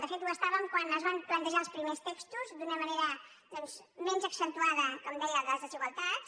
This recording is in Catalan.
de fet ho estàvem quan es van plantejar els primers textos d’una manera doncs menys accen·tuada com deia de les desigualtats